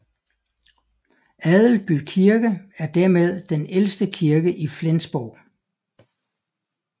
Adelby Kirke er dermed den ældste kirke i Flensborg